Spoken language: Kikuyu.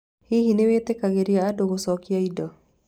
Hihi nĩ mwĩtĩkagĩria andũ gucokia indo?